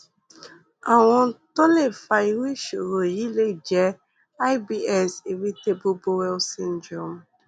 àwọn ohun tó lè fa irú ìṣòro yìí lè jẹ ibs irritable bowel syndrome